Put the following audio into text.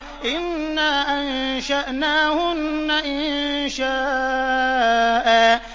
إِنَّا أَنشَأْنَاهُنَّ إِنشَاءً